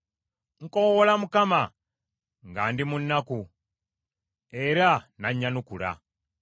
Nkoowoola Mukama nga ndi mu nnaku, era n’annyanukula.